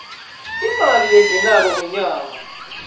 imali lengenako ngenyanga